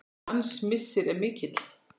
Hans missir er mikill.